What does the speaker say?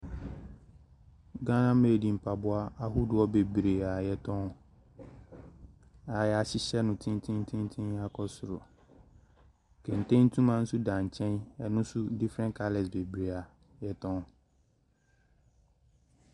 Ghana made mpaboa ahodoɔ bebree a wɔtɔn. Na wɔahyehyɛ no tentententen akɔ soro. Kente ntoma nso da nkyɛn. Ɛno nso different coloura bebree a wɔtɔn.